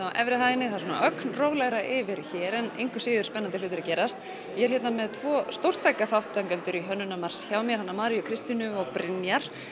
á efri hæðinni það er ögn rólegra yfir hér en engu að síður spennandi hlutir að gerast ég er hér með tvo stórtæka þátttakendur í Hönnunarmars hjá mér hana Maríu Kristínu og Brynjar